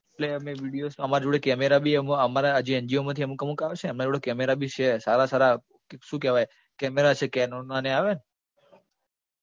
એટલે અમે videos તો અમારા જોડે camera બી એમાં અમારા જે NGO માંથી અમુક અમુક આવે છે એમના જોડે camera બી છે, સારા સારા શું કહેવાય camera છે canon ના ને આવે ને